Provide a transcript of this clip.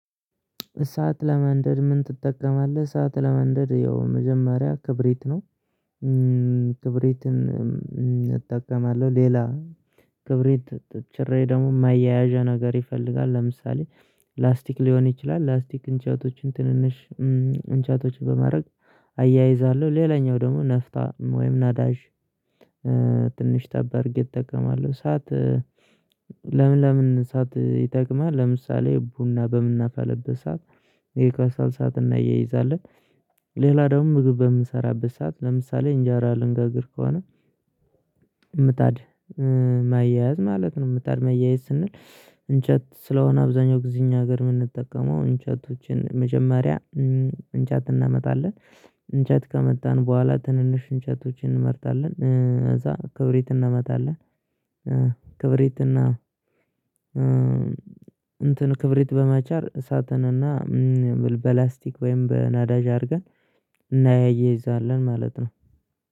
እሳት ለማንደድ ምን? ትጠቀማለህ እሳት ለማንደድ ያው መጀመሪያ ክብሪት ነው። ክብሪትን እጠቀማለሁ ሌላ ክብሪት ጭሬ ደግሞ ማያያዣ ነገር ይፈልጋል። ለምሳሌ ላስቲክ ሊሆን ይችላል ላስቲክ እንጨቶችን ትንንሽ እንጨቶች በማድረግ አያይዛለሁ። ሌላኛው ደግሞ ነፍጣ ወይም ናዳጅ ትንሽ ጠባርጌ እጠቀማለሁ። ሳት ለምን ለምን ሳት ይጠቅማል? ለምሳሌ ቡና በምናፋለበት ሰዓት ይሄ ከሰል ሳት እናያይዛለን። ሌላ ደግሞ ምግብ በምሰራበት ሰዓት ለምሳሌ እንጃራ ልንጋግር ከሆነ ምጣድ ማያያዝ ማለት ነው። ምጣድ ማያያዝ ስንል እንጨት ስለሆነ አብዛኛው ጊዜ እኛ ሀገር ምንጠቀመው እንጨቶችን መጀመሪያ እንጨት እናመጣለን። እንጨት ካመጣን በኋላ ትንንሽ እንጨቶችን እንመርጣለን እዛ ክብሪት እናመጣለን እና እንትን ክብሪት በመቻር እሳትን እና በላስቲክ ወይም በናዳጅ አድርገን እናያይዛለን ማለት ነው።